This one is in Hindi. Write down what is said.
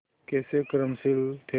कैसे कर्मशील थे